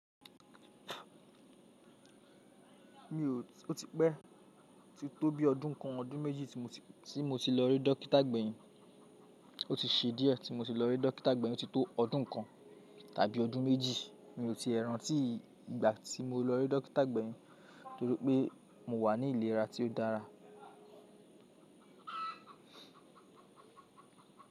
Mi ò, ó ti pẹ́, ti tó bí ọdún kan, ọdún méjì tí mo ti, tí mo ti lọ rí dọ́kítà gbẹ̀yìn. Ó ti ṣe díẹ̀ tí mo ti lọ rí dọ́kítà gbẹ̀yìn, ó ti tó ọdún kan tàbí ọdún méjì mi ò tie rántí ìgbà tí mo lọ rí dọ́kítà gbẹ̀yìn torí pé mò wà ní ìlera tí ó dára.